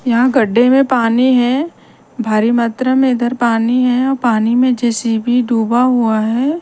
यहाँ गड्डे में पानी है भारी मात्रा में इधर पानी है और पानी में जे_सी_बी डूबा हुआ है।